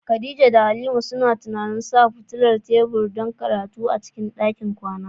Khadija da Halima suna tunanin sa fitilar tebur don karatu a cikin ɗakin kwana.